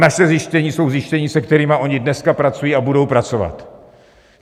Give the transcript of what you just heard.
Naše zjištění jsou zjištění, se kterými oni dneska pracují a budou pracovat.